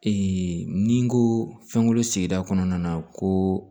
ni n ko fɛnko sigida kɔnɔna na ko